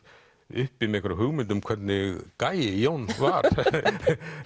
uppi með einhverja hugmynd um hvernig gæi Jón var